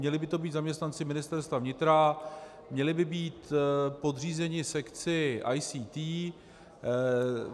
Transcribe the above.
Měli by to být zaměstnanci Ministerstva vnitra, měli by být podřízení sekci ICT.